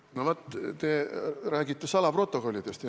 No vaat, te rääkisite salaprotokollidest.